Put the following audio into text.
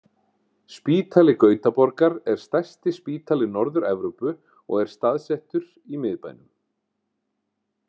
Spítali Gautaborgar er stærsti spítali Norður-Evrópu og er staðsettur í miðbænum.